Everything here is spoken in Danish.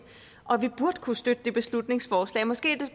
og vi burde kunne støtte det beslutningsforslag måske er det